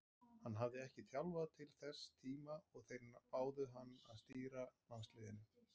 Hann hafði ekki þjálfað til þess tíma og þeir báðu hann að stýra landsliðinu.